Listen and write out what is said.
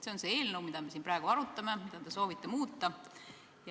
See on see eelnõu, mida me siin praegu arutame ja mida te soovite muuta.